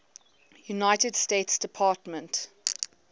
united states department